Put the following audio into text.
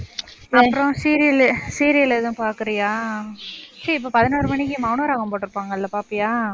அப்புறம் serial உ serial எதுவும் பாக்கறியா? சரி, இப்ப பதினோரு மணிக்கு, மௌனராகம் போட்டிருப்பாங்க பாப்பியா?